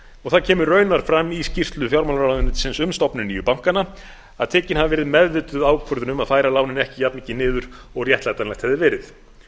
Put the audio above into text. og það kemur raunar fram í skýrslu fjármálaráðuneytisins um stofnun nýju bankanna að tekin hafi verið meðvituð ákvörðun um að færa lánin ekki jafnmikið niður og réttlætanlegt hefði verið